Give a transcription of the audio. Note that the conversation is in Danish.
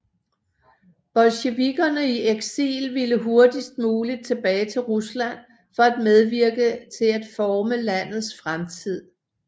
Bolsjevikerne i eksil ville hurtigst muligt tilbage til Rusland for at medvirke til at forme landets fremtid